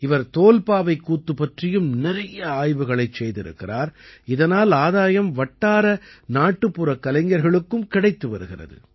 இவர் தோல்பாவைக் கூத்து பற்றியும் நிறைய ஆய்வுகளைச் செய்திருக்கிறார் இதனால் ஆதாயம் வட்டார நாட்டுப்புற கலைஞர்களுக்கும் கிடைத்து வருகிறது